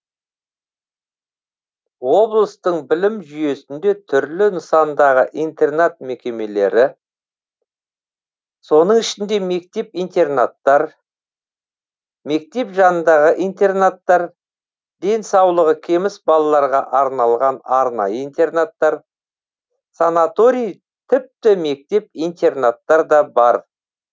облыстың білім жүйесінде түрлі нысандағы интернат мекемелері соның ішінде мектеп интернаттар мектеп жанындағы интернаттар денсаулығы кеміс балаларға арналған арнайы интернаттар санаторий типті мектеп интернаттар да бар